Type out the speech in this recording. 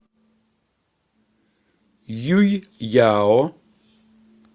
юйяо